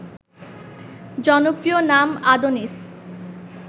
জনপ্রিয় নাম আদোনিস